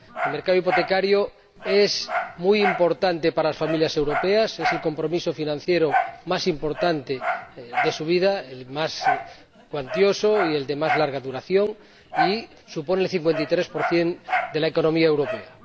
El mercado hipotecario es muy importante para las familias europeas. Es el compromiso financiero más importante de su vida, el más cuantioso y el de más larga duración y supone el 53 de la economía europea.